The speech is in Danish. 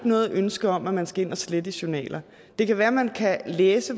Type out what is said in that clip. noget ønske om at man skal ind og slette i journaler det kan være man kan læse